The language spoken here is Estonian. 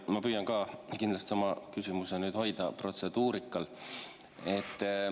Ma püüan ka kindlasti oma küsimuse hoida protseduurikal.